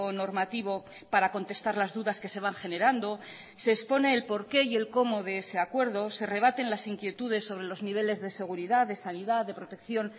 normativo para contestar las dudas que se van generando se expone el por qué y el cómo de ese acuerdo se rebaten las inquietudes sobre los niveles de seguridad de sanidad de protección